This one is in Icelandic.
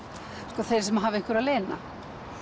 sko þeir sem hafa einhverju að leyna